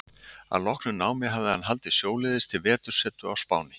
Að loknu námi hafði hann haldið sjóleiðis til vetursetu á Spáni.